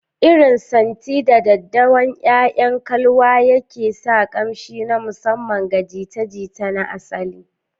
Irin santi, 'da daddawan 'ya'yan kalwa yake sa ƙamshi na musamman ga jita-jita na asali.